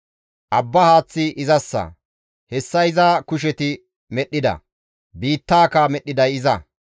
Abba haaththi izassa; hessa iza kusheti medhdhida; biittaaka medhdhiday iza.